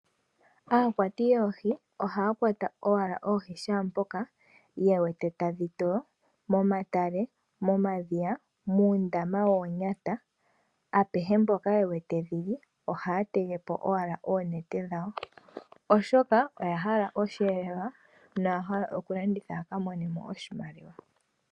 Aakwati yoohi ohaa kwata owala oohi shaampoka ye wete tadhi toyo, momatale momadhiya, muundama woonyata, apehe mpoka ye wete dhili ohaya tege po owala oonete dhawo oshoka oya hala osheelelwa noya hala okulanditha ya ka mone mo oshimaliwa.